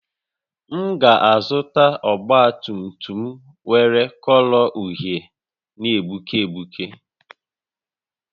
M ga-azụta ọgba tum tum nwere kọlọ uhie na-egbuke egbuke